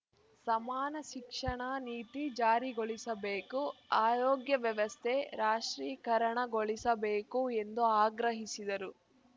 ಸಮಾನ ಶಿಕ್ಷಣ ನೀತಿ ಜಾರಿಗೊಳಿಸಬೇಕು ಆರೋಗ್ಯ ವ್ಯವಸ್ಥೆ ರಾಷ್ಟ್ರೀಕರಣಗೊಳಿಸಬೇಕು ಎಂದು ಆಗ್ರಹಿಸಿದರು